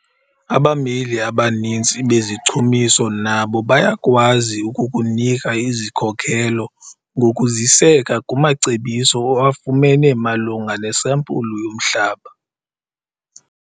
Abameli abaninzi bezichumiso nabo bayakwazi ukukunika izikhokelo ngokuziseka kumacebiso owafumene malunga nesampulu yomhlaba.